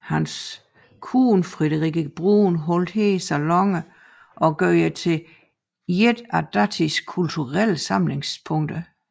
Hans hustru Friederike Brun holdt her saloner og gjorde det til et af datidens kulturelle samlingssteder